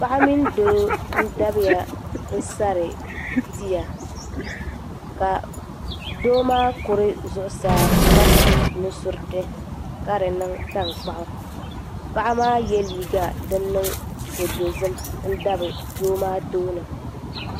paɣa mini doo n-dabiya n-sari tia ka doo maa kuri zuɣusaa ka su nu' suriti ka di niŋ taŋkpaɣu paɣa maa ye liiga din niŋ ko' dozim n-dabi doo maa tooni.